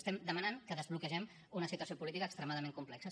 estem demanant que desbloquegem una situació política extremadament complexa